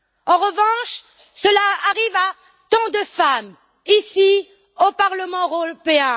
En revanche, cela arrive à tant de femmes ici, au Parlement européen.